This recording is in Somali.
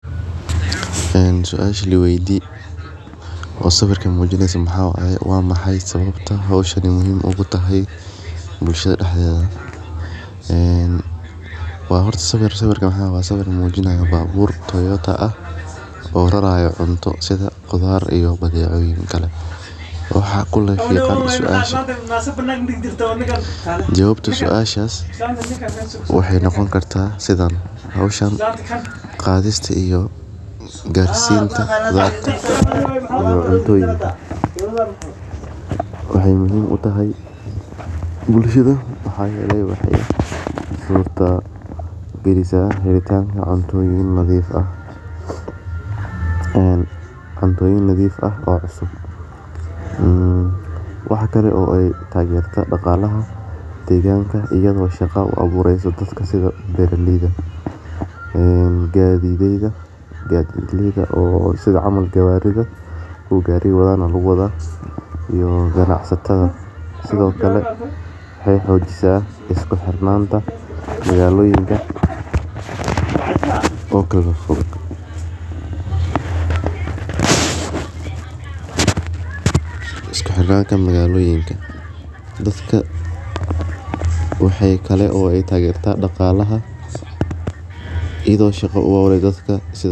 Waa sawir muujinaya baabuur (Toyota) ah oo raraya cuntooyin sida qudaar iyo badeecooyin kale. Howshan qaadista iyo gaarsiinta qudarta iyo cuntada waxay muhiim u tahay bulshada. Waxay suurtagelisaa helitaan cuntooyin nadiif ah oo cusub. Waxay taageertaa dhaqaalaha deegaanka iyadoo u samaysa shaqo-abuur sida gadidlayda, kuwa gaariga wada, iyo ganacsatada. Waxay xoojisaa is-xirnaanta magaalooyinka kala fog iyo dadka taageera dhaqaalaha. dadka shaqo-abuur utehe.